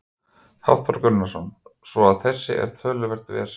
Hafþór Gunnarsson: Svo að þetta er töluvert vesen?